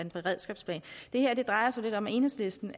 en beredskabsplan det her drejer sig lidt om at enhedslisten